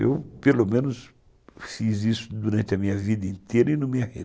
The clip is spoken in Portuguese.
Eu, pelo menos, fiz isso durante a minha vida inteira e não me a